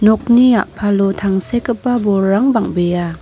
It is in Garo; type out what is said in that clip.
nokni a·palo tangsekgipa bolrang bang·bea.